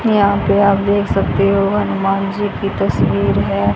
यहां पे आप देख सकते हो हनुमान जी की तस्वीर है।